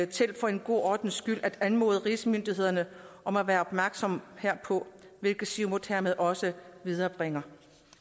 til for en god ordens skyld at anmode rigsmyndighederne om at være opmærksomme herpå hvilket siumut hermed også viderebringer